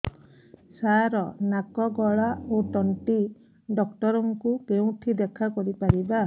ସାର ନାକ ଗଳା ଓ ତଣ୍ଟି ଡକ୍ଟର ଙ୍କୁ କେଉଁଠି ଦେଖା କରିପାରିବା